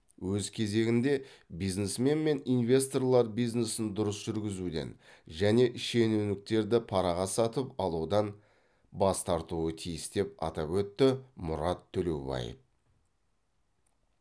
өз кезегінде бизнесмен мен инвесторлар бизнесін дұрыс жүргізуден және шенеуніктерді параға сатып алудан бас тартуы тиіс деп атап өтті мұрат төлеубаев